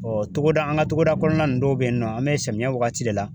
togoda an ka togoda kɔnɔna nunnu dɔw be yen nɔ, an be samiyɛ wagati de la.